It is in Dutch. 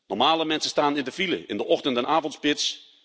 Normale mensen staan in de file in de ochtend en avondspits.